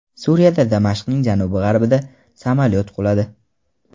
Suriyada, Damashqning janubi-g‘arbida harbiy samolyot quladi.